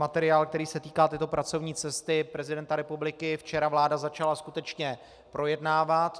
Materiál, který se týká této pracovní cesty prezidenta republiky, včera vláda začala skutečně projednávat.